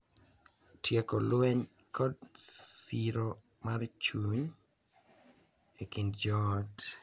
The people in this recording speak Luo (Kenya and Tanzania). Tieko lweny, kod siro mar chuny e kind joot.